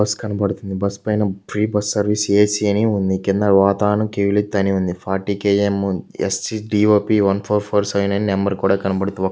Bus కనబడుతుంది. Bus పైన free bus service A C అని ఉంది. కింద వాతావరణం అని ఉంది. Forty K M S C T O P one four four five అనే నెంబర్ కూడా కనబడుతూ--